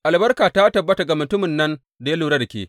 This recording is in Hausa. Albarka ta tabbata ga mutumin nan ta ya lura da ke!